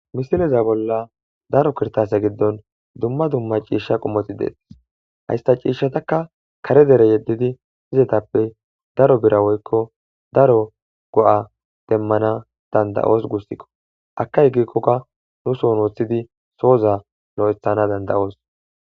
Misileza bolla daro kirtase giddon dumma dumma ciishsha qommoti deetis haysta ciishshataka kare dere yeddidi izetappe daro bira woykko daro go7a demmana danda7oos gussikko akay gikkokka nu son woththidi sooza lo7ethana danda7oos.